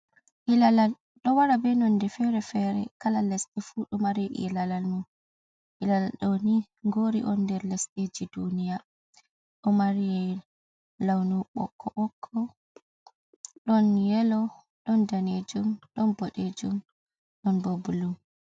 Ilalal ɗo wara be nonde fere fere kalal les&e fu ɗo mari i lalal mu ilala ɗoni gori on der lesdeji duniya ɗo mari launu bokko bokko ɗon yelo ɗon danejum don boɗejum ɗon bo bullu.